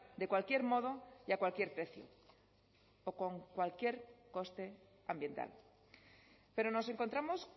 de cualquier modo y a cualquier precio o con cualquier coste ambiental pero nos encontramos